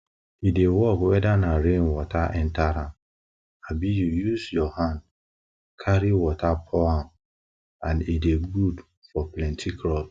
e dey work weda na rain water enta am abi u use your hand carry water pour am and e dey good for plenti crops